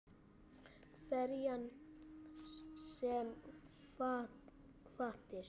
Hverjar sem hvatir